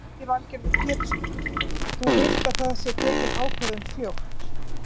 Lillý Valgerður Pétursdóttir: Þú vilt að það sé tekin ákvörðun fljótt?